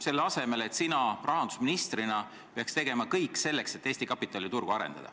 Selle asemel peaksid sina rahandusministrina tegema kõik, et Eesti kapitaliturgu arendada.